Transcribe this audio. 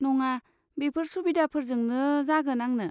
नङा, बेफोर सुबिदाफोरजोंनो जागोन आंनो।